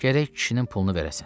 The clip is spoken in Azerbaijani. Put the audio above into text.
Gərək kişinin pulunu verəsən.